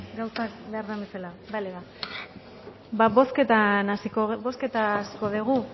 gauzak behar den bezala bale ba ba bozketa hasiko dugu